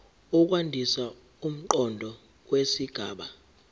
ukwandisa umqondo wesigaba